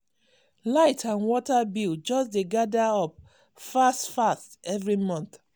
light and water bill just dey gather up fast fast every month.